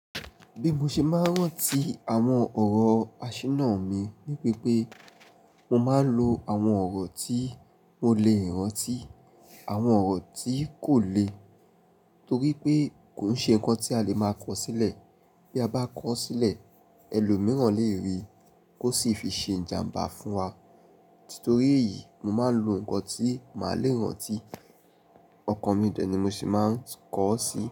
Bí mo ṣe máa ń rántí àwọn ọ̀rọ̀ àṣírí náà ni ní pé pé, mo máa ń lo àwọn ọ̀rọ̀ tí mo lè rántí, àwọn ọ̀rọ̀ tí kò lè torí pé kò ń ṣe nǹkan tí a lè máa kọ sílẹ̀. Bí a bá kọ ọ́ sílẹ̀, ẹlòmíràn lè rí i kó sì fi ṣe ìjàmbá fún wa. Titorí èyí, mo máa ń lo nǹkan tí màá le rántí, ọkàn mi dẹ̀ ni mo sì máa ń kọ ọ́ sí.